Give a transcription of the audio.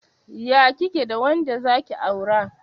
Ya kike da wanda zaki aura?